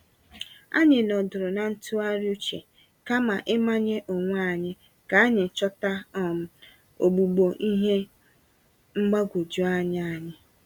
Anyị nọdụrụ na ntụgharị uche, kama ịmanye onwé anyị, k'anyi chọta um ogbugbo nye ihe mgbagwoju anya anyị.